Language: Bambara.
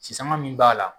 Sisanga min b'a la